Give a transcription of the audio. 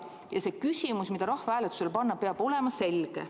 See küsimus, mida rahvahääletusele panna, peab olema selge.